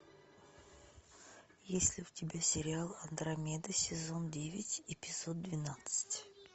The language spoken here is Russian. есть ли у тебя сериал андромеда сезон девять эпизод двенадцать